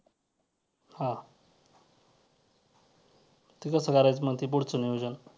हां ते कसं करायचं मग ते पुढचं नियोजन